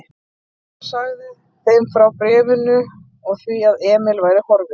Mamma sagði þeim frá bréfinu og því að Emil væri horfinn.